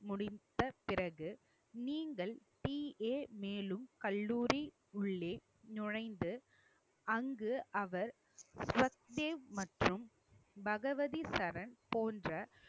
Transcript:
முடிந்த பிறகு நீங்கள் PA மேலும் கல்லூரி உள்ளே நுழைஞ்சு அங்கு அவர் மற்றும் பகவதி சரண் போன்ற